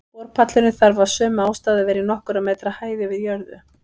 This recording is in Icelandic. Borpallurinn þarf af sömu ástæðu að vera í nokkurra metra hæð yfir jörðu.